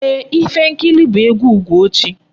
Ee, Ifenkili bụ egwu Ugochi.